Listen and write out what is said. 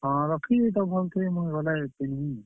ହଁ, ରଖିଦେଇ ଥ ଭଲ୍ ସେ ମୁଇଁ ଗଲେ ପିନ୍ଧମି।